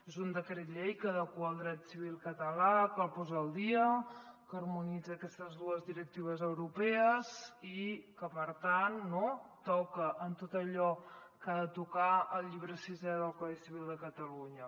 és un decret llei que adequa el dret civil català que el posa al dia que harmonitza aquestes dues directives europees i que per tant toca en tot allò que ha de tocar el llibre sisè del codi civil de catalunya